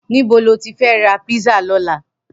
Nibó ló ti fè rà pizza lòlá?